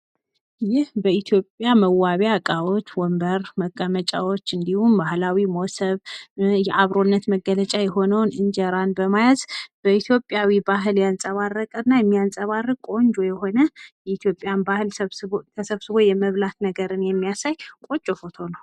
ይህ በኢትዮጵያ መዋቢያ እቃዎች ወንበር መቀመጫዎች፤ እንዲሁም ባህላዊ ሞሰብ የአብሮነት መገለጫ የሆነውን እንጀራን በመያዝ በኢትዮጵያዊ ባህል ያንጸባረቀ እና የሚያንጸባርቅ ቆንጆ የሆነ የኢትዮጵያን ባህል ተሰብስቦ የመብላት ነገርን የሚያሳይ ቆንጆ ፎቶ ነው።